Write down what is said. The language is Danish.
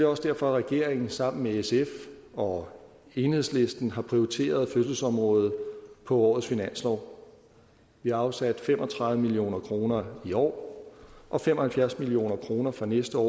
også derfor at regeringen sammen med sf og enhedslisten har prioriteret fødselsområdet på årets finanslov vi har afsat fem og tredive million kroner i år og fem og halvfjerds million kroner for næste år